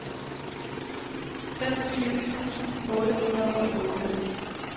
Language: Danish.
femogtyve tusind otte hundrede og otte